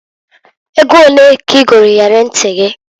Ego onee ka i golu iyeli nti gị?